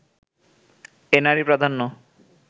এ নারী-প্রাধান্য